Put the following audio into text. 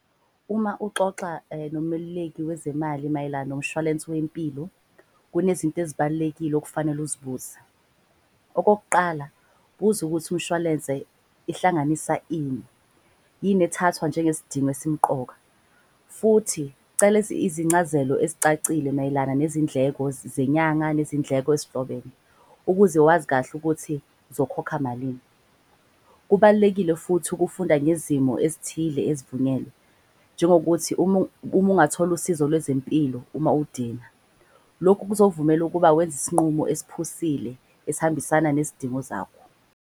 Uma uxoxa nomeluleki wezemali mayelana nomshwalensi wempilo. Kunezinto ezibalulekile okufanele uzibuze, okokuqala buza ukuthi umshwalense ihlanganisa ini. Yini ethathwa njenge sidingo esimuqoka. Futhi cela izincazelo ezicacile mayelana nezindleko zenyanga nezindleko ezihlobene. Ukuze wazi kahle ukuthi uzokhokha malini. Kubalulekile futhi ukufunda ngezimo ezithile ezivunyelwe njengokuthi . Uma ungathola usizo lwezempilo uma udinga. Lokhu kuzovumela ukuba wenza isinqumo esiphusile esihambisana nezidingo zakho.